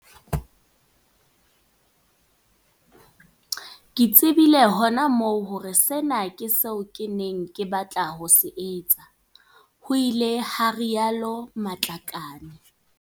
Ke tse bile hona moo hore sena ke seo ke neng ke batla ho se etsa ho ile ha rialo Matlakane.